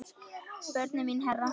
Börnin mín herra.